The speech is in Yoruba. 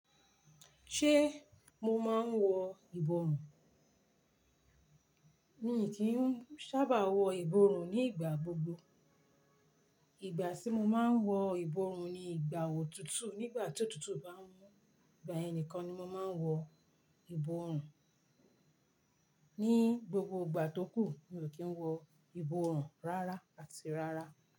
Ṣé mo máa ń wọ ìbòrùn? Mi kì í sábà wọ ìbòrùn ní ìgbà gbogbo. Ìgbà tí mo máa ń wọ ìbòrùn ni ìgbà òtútù. Nígbà tí òtútù bá mú, ìgbà yẹn ni kan ni mo máa ń wọ ìbòrùn. Ní gbogbo ìgbà tó kù, mi ò kí ń wọ ìbòrùn rárá àti rárá.